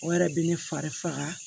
O yɛrɛ bɛ ne fari faga